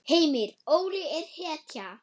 Heimir: Óli er hetja?